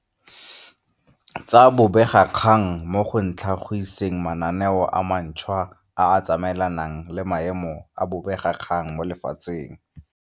tsa bobegakgang mo go tlha giseng mananeo a mantšhwa a a tsamaelanang le maemo a bobegakgang mo lefatsheng.